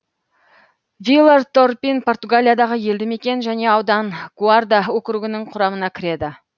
вилар торпин португалиядағы елді мекен және аудан гуарда округінің құрамына кіреді